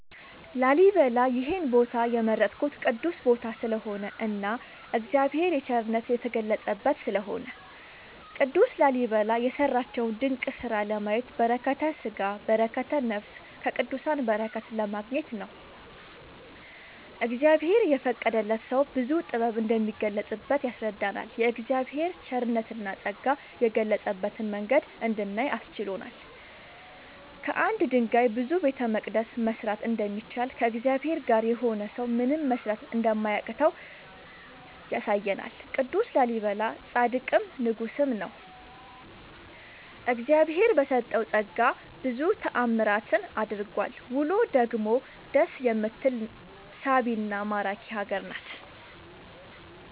ላሊበላ ይሄን ቦታ የመረጥኩት ቅዱስ ቦታ ስለሆነ እና እግዚአብሔር የቸርነት የተገለፀበት ስለሆነ። ቅዱስ ላሊበላ የሰራቸውን ድንቅ ስራ ለማየት በረከተስጋ በረከተ ነፍስ ከቅዱሳን በረከት ለማግኘት ነው። እግዚአብሔር የፈቀደለት ሰው ብዙ ጥበብ እንደሚገለፅበት ያስረዳናል የእግዚአብሔር ቸርነትና ፀጋ የገለፀበትን መንገድ እንድናይ አስችሎናል። ከአንድ ድንጋይ ብዙ ቤተመቅደስ መስራት እንደሚቻል ከእግዚአብሔር ጋር የሆነ ሰው ምንም መስራት እንደማያቅተው ያሳየናል ቅዱስ ላሊበላ ፃድቅም ንጉስም ነው። እግዚአብሄር በሰጠው ፀጋ ብዙ ታዕምራትን አድርጓል ውሎ ደግሞ ደስ የምትል ሳቢና ማራኪ ሀገር ናት።…ተጨማሪ ይመልከቱ